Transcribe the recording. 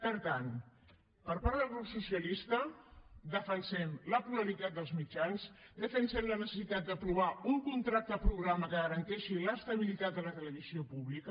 per tant per part del grup socialista defensem la pluralitat dels mitjans defensem la necessitat d’aprovar un contracte programa que garanteixi l’estabilitat de la televisió pública